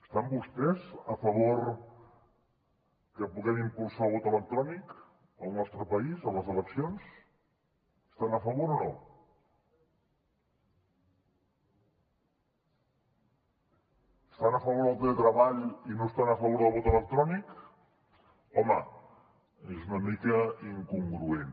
estan vostès a favor que puguem impulsar el vot electrònic al nostre país a les eleccions hi estan a favor o no estan a favor del teletreball i no estan a favor del vot electrònic home és una mica incongruent